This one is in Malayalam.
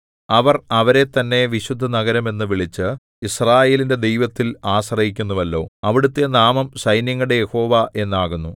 അവർ അവരെത്തന്നെ വിശുദ്ധനഗരം എന്നു വിളിച്ചു യിസ്രായേലിന്റെ ദൈവത്തിൽ ആശ്രയിക്കുന്നുവല്ലോ അവിടുത്തെ നാമം സൈന്യങ്ങളുടെ യഹോവ എന്നാകുന്നു